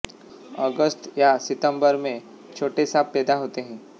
अगस्त या सितंबर में छोटे साँप पैदा होते हैं